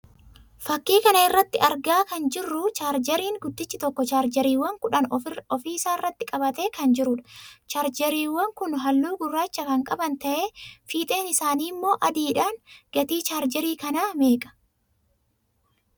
Fakkii kana irraa argaa kan jirruu 'chaarjeeriin' guddichi tokko 'chaarjeeriiwwan' kudhan ofii isaarratti qabatee kan jiruudha. 'Chaarjeeriiwwan' kun halluu gurraacha kan qaban tahee fiixeen isaaniimmoo adiidha. Gatiin chaarjeerii kanaa meeqaa?